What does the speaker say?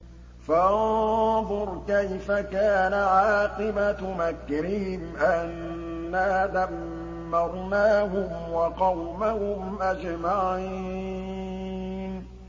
فَانظُرْ كَيْفَ كَانَ عَاقِبَةُ مَكْرِهِمْ أَنَّا دَمَّرْنَاهُمْ وَقَوْمَهُمْ أَجْمَعِينَ